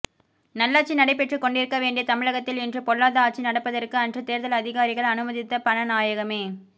நல்லாட்சி நடைபெற்றுக் கொண்டிருக்க வேண்டிய தமிழகத்தில் இன்று பொல்லாத ஆட்சி நடப்பதற்கு அன்று தேர்தல் அதிகாரிகள் அனுமதித்த பண நாயகமே